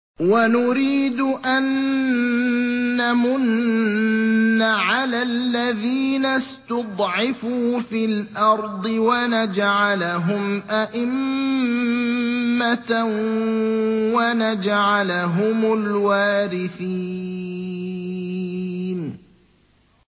وَنُرِيدُ أَن نَّمُنَّ عَلَى الَّذِينَ اسْتُضْعِفُوا فِي الْأَرْضِ وَنَجْعَلَهُمْ أَئِمَّةً وَنَجْعَلَهُمُ الْوَارِثِينَ